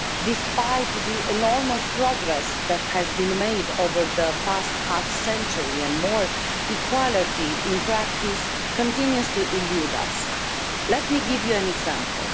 Despite the enormous progress that has been made over the past half century and more, equality in practice continues to elude us. Let me give you an example.